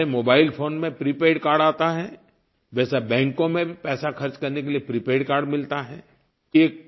जैसे mobile phone में prepaid card आता है वैसा बैंकों में भी पैसा ख़र्च करने के लिये प्रीपेड कार्ड मिलता है